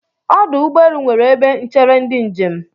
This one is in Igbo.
Ọdụ ụgbọelu nwere ebe n̄chere ndị njem.